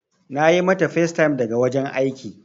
Na yi mata facetime daga wajen aiki.